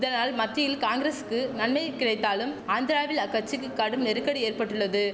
இதனால் மத்தியில் காங்கிரசுக்கு நன்மையை கிடைத்தாலும் ஆந்திராவில் அக்கச்சிக்கு கடும் நெருக்கடி ஏற்பட்டுள்ளது